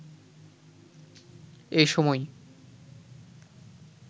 এ সময়